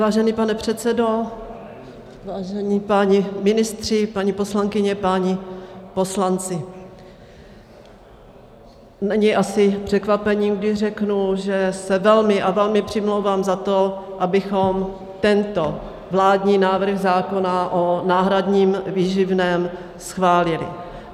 Vážený pane předsedo, vážení páni ministři, paní poslankyně, páni poslanci, není asi překvapením, když řeknu, že se velmi a velmi přimlouvám za to, abychom tento vládní návrh zákona o náhradním výživném schválili.